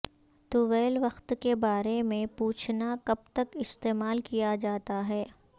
طویل وقت کے بارے میں پوچھنا کب تک استعمال کیا جاتا ہے